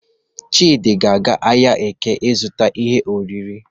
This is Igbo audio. Chidị ga-aga ahịa Eke izụta ihe oriri.